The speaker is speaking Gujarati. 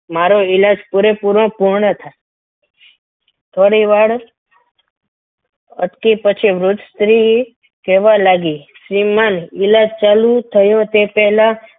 મારો ઈલાજ પૂરેપૂરો પૂર્ણ થાય થોડીવાર અટકે પછી વૃદ્ધ સ્ત્રીએ કહેવા લાગી શ્રીમંત ઈલાજ ચાલુ થયો તે પહેલાં